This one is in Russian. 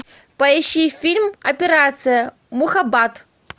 поищи фильм операция мухаббат